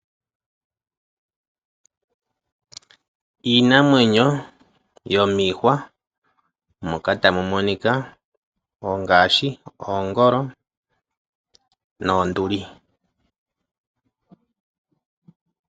Iinamwenyo yomiihwa moka tamu monika ngaashi, oongolo noonduli.